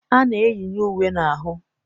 A na-eyinye uwe n'ahụ.